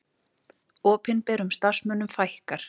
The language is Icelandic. Opinberum starfsmönnum fækkar